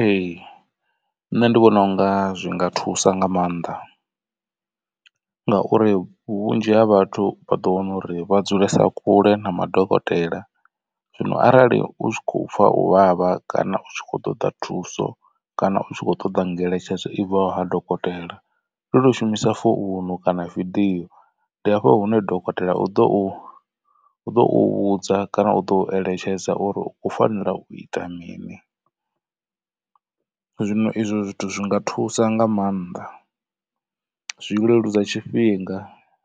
Ee, nṋe ndi vhona unga zwi nga thusa nga maanḓa ngauri vhunzhi ha vhathu vha ḓo wana uri vha dzulesa kule na madokotela zwino arali u tshi khou pfha u vhavha kana u tshi khou ṱoḓa thuso kana u tshi kho ṱoda ngeletshedzo i bvaho ha dokotela. Ndi u to shumisa founu kana video ndi hafho hune dokotela u ḓo u ḓo u vhudza kana u ḓo eletshedza uri u fanela u ita mini. Zwino izwo zwithu zwi nga thusa nga maanḓa zwi leludza tshifhinga